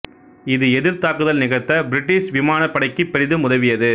இது எதிர்த் தாக்குதல் நிகழ்த்த பிரிட்டிஷ் விமானப்படைக்குப் பெரிதும் உதவியது